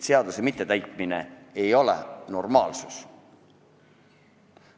Seaduse mittetäitmine ei ole normaalsus.